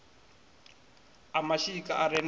a mashika a re na